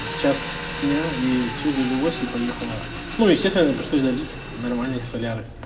в час дня и все завелась и поехала ну естественно приходят залить нормальное соляры